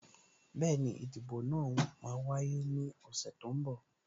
Bẹẹni, ìdìbò náà máa wáyé ní ọ̀sẹ̀ tó ń bọ̀